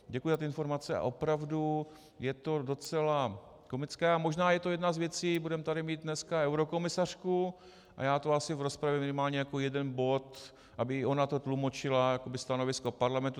Děkuji za ty informace a opravdu je to docela komické a možná je to jedna z věcí, budeme tady mít dneska eurokomisařku, a já to asi v rozpravě minimálně jako jeden bod, aby i ona to tlumočila jakoby stanovisko Parlamentu.